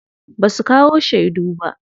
Basu kawo shedu ba.